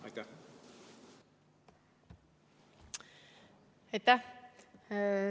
Aitäh!